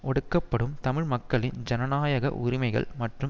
ஒடுக்கப்படும் தமிழ் மக்களின் ஜனநாயக உரிமைகள் மற்றும்